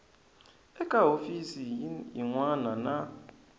eka hofisi yin wana na